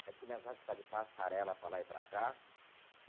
A gente começasse a ficar de passarela para lá e para cá.